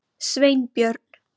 Sveinbjörn